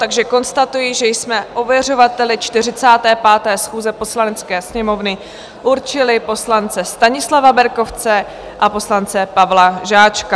Takže konstatuji, že jsme ověřovateli 45. schůze Poslanecké sněmovny určili poslance Stanislava Berkovce a poslance Pavla Žáčka.